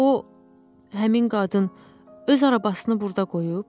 O, həmin qadın öz arabasını burda qoyub.